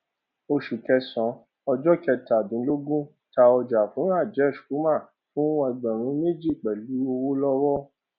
oṣù kẹsàn-án ọjọ kẹtàdínlógún ta ọjà fún rajesh kumar fún ẹgbẹrún méjì pẹlú ọwọ lọwọ